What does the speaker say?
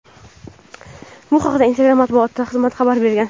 Bu haqda Instagram matbuot xizmati xabar bergan.